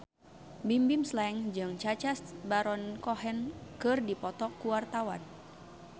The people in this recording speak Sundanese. Bimbim Slank jeung Sacha Baron Cohen keur dipoto ku wartawan